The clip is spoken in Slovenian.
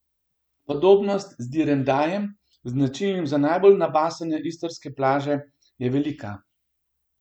Podobnost z direndajem, značilnim za najbolj nabasane istrske plaže, je velika.